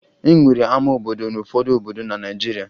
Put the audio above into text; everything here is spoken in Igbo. E nwere ama obodo n'ụfọdụ obodo na Naịjirịa